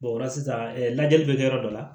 o la sisan lajɛli bɛ kɛ yɔrɔ dɔ la